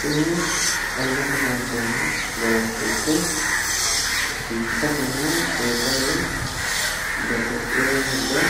Kuni angate lonsoonni daraarcho ikke biifisatenna seesaho babbaxxewo darga